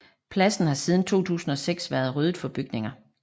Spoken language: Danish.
Pladsen har siden 2006 været ryddet for bygninger